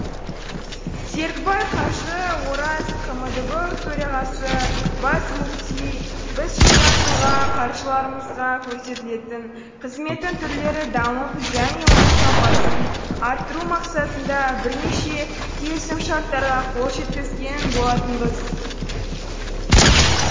серікбай қажы ораз қмдб төрағасы бас мүфти біз жылдан жылға қажыларымызға көрсетілетін қызметтің түрлері дамып және оның сапасын арттыру мақсатында бірнеше келісімшарттарға қол жеткізген болатынбыз